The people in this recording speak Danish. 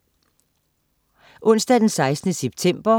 Onsdag den 16. september